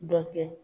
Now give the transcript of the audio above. Dɔ kɛ